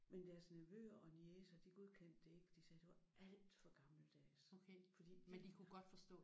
Men deres nevøer og niecer de godkendte det ikke. De sagde det var alt for gammeldags fordi de